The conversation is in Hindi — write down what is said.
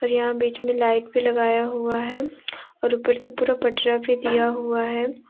और यहां बीच में लाइट भी लगाया हुआ है और ऊपर से पूरा पटरा भी दिया हुआ है।